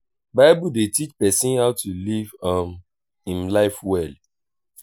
bible dey teach pesin how to live um im life well.